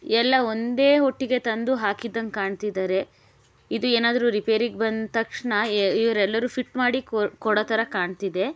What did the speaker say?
ಎಲ್ಲ ಒಂದೇ ಒಟ್ಟಿಗೆ ತಂದು ಹಾಕಿದ್ದಂಗೆ ಕಾಣ್ತಿದ್ದಾರೆ ಇದು ಏನಾದ್ರೂ ರಿಪೇರಿಗೆ ಬಂದ್ ತಕ್ಷಣ ಇವ್ರು ಎಲ್ಲರು ಫಿಟ್ ಮಾಡಿ ಕೊ ಕೊಡೊ ತರ ಕಾಣ್ತಿದೆ .